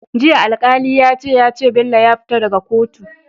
Jiya alkali yace yace Bello ya fita daka kotu